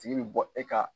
Tigi bi bɔ e ka